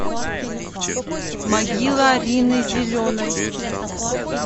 могила рины зеленой